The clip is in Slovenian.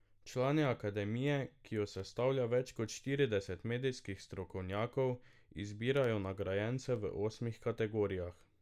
Člani Akademije, ki jo sestavlja več kot štirideset medijskih strokovnjakov, izbirajo nagrajence v osmih kategorijah.